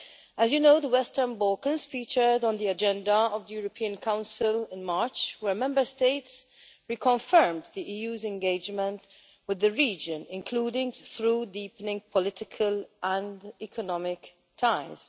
As you know, the Western Balkans featured on the agenda of the European Council in March, where Member States reconfirmed the EU's engagement with the region, including through deepening political and economic ties.